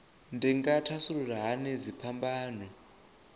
dzi nga thasulula hani dziphambano